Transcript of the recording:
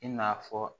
I n'a fɔ